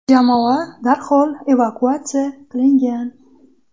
Jamoa darhol evakuatsiya qilingan.